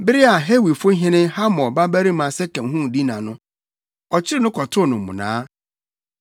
Bere a Hewifohene Hamor babarima Sekem huu Dina no, ɔkyeree no kɔtoo no mmonnaa.